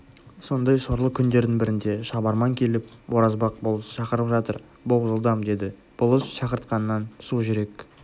сондай сорлы күндердің бірінде шабарман келіп оразбақ болыс шақырып жатыр бол жылдам деді болыс шақыртқаннан сужүрек